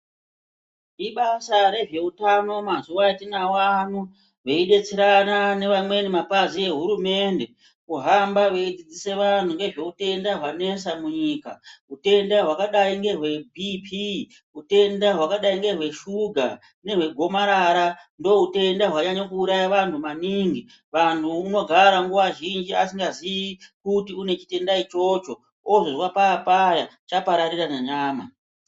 Ibasa rezveutano mazuwa atinawo ano veidetserana neamweni mapazi ehurumende kuhamba veidzidzise vanhu ngezve utenda hwanesa munyika hutenda hwakadai ngeBP, utenda hwakadai ngechokera , nehwe gomarara, ndohutenda hwanyanya kuuraya vantu maningi ,muntu unogara nguwa zhinji asingazii kuti unechitenda ichocho, ozozwa paapaya chapararira nenyama.